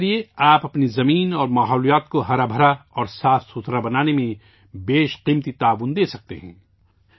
اس کے ذریعے آپ اپنی زمین اور فطرت کو سرسبز و شاداب اور شفاف بنانے میں بیش قیمتی تعاون دے سکتے ہیں